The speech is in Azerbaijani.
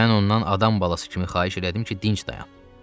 Mən ondan adam balası kimi xahiş elədim ki, dinc dayan.